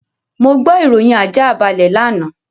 Mo gbọ́ ìròyìn àjáàbalẹ̀ lánàá.